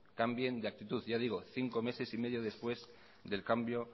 cambien de actitud ya digo cinco meses y medio después del cambio